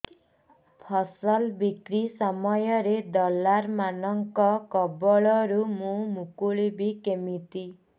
ଫସଲ ବିକ୍ରୀ ସମୟରେ ଦଲାଲ୍ ମାନଙ୍କ କବଳରୁ ମୁଁ ମୁକୁଳିଵି କେମିତି